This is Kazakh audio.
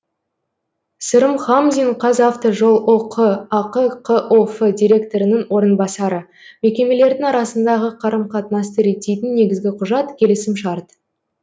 сырым хамзин қазавтожол ұк ақ қоф директорының орынбасары мекемелердің арасындағы қарым қатынасты реттейтін негізгі құжат келісімшарт